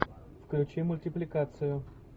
включи мультипликацию